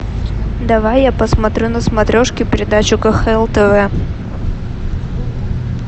давай я посмотрю на смотрешке передачу кхл тв